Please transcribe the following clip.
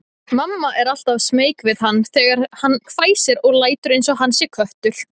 Mamma er alltaf smeyk við hann þegar hann hvæsir og lætur einsog hann sé köttur.